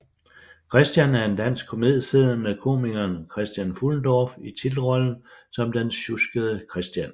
Kristian er en dansk komedieserie med komikeren Christian Fuhlendorff i titelrollen som den sjuskede Kristian